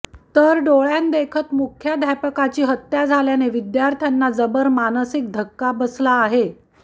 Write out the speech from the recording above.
तर डोळ्यांदेखत मुख्याध्यापकाची हत्या झाल्याने विद्यार्थ्यांना जबर मानसिक धक्का बसला आहे